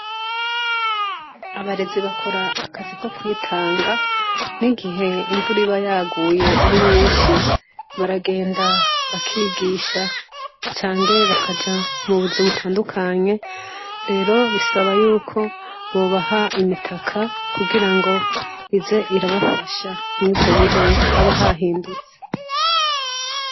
Abarezi bakora akazi ko kwitanga n'igihe imvura iba yaguye ari nyinshi baragenda bakigisha canke bakaja mu buzi butandukanye rero bisaba yuko bobaha imitaka kugira ngo ize irabafasha mw'ivyo bihe haba hahindutse.